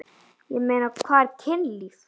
Ég meina, hvað er kynlíf?